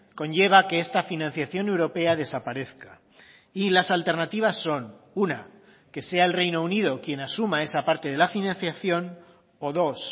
conlleva que esta financiación europea desaparezca y las alternativas son una que sea el reino unido quien asuma esa parte de la financiación o dos